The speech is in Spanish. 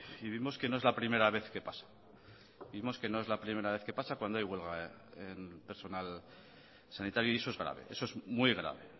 y vimos que no es la primera vez que pasa cuando hay huelga en personal sanitario y eso es grave es muy grave